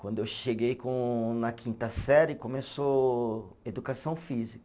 Quando eu cheguei com na quinta série, começou educação física.